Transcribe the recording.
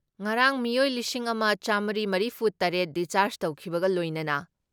ꯉꯔꯥꯡ ꯃꯤꯑꯣꯏ ꯂꯤꯁꯤꯡ ꯑꯃ ꯆꯥꯃꯔꯤ ꯃꯔꯤꯐꯨ ꯇꯔꯦꯠ ꯗꯤꯁꯆꯥꯔꯖ ꯇꯧꯈꯤꯕꯒ ꯂꯣꯏꯅꯅ